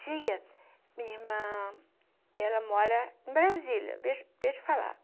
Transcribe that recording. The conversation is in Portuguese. tia, minha irmã, ela mora em Brasília, deixa deixa eu falar.